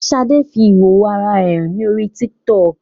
Ṣadé fi ìhòhò ara rẹ hàn ní orí TikTok